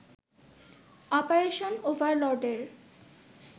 operation ওভারলর্ডের